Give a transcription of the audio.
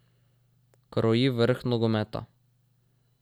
Kroji vrh nogometa.